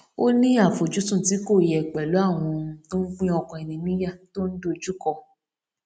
ó ní àfojúsùn tí kò yẹ pẹlú àwọn ohun tó ń pín ọkàn ẹni níyà tó n dojúkọ